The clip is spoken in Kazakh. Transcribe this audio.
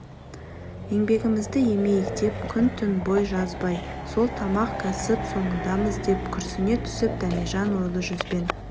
еңбегімізді емейік деп күн-түн бой жазбай сол тамақ кәсіп соңындамыз деп күрсіне түсіп дәмежан ойлы жүзбен